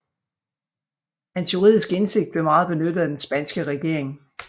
Hans juridiske indsigt blev meget benyttet af den spanske regering